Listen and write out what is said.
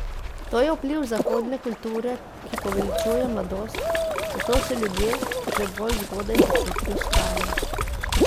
To je vpliv zahodne kulture, ki poveličuje mladost, zato se ljudje že bolj zgodaj počutijo stare.